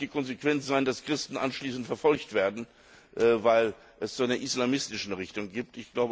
Aber es darf nicht die Konsequenz sein, dass Christen anschließend verfolgt werden, weil es eine islamistische Richtung gibt.